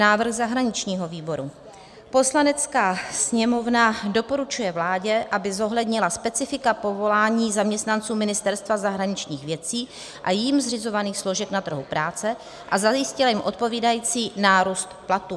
Návrh zahraničního výboru: "Poslanecká sněmovna doporučuje vládě, aby zohlednila specifika povolání zaměstnanců Ministerstva zahraničních věcí a jím zřizovaných složek na trhu práce a zajistila jim odpovídající nárůst platů.";